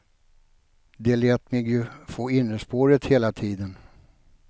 De lät mig ju få innerspåret hela tiden.